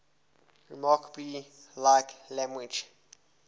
remarkably like language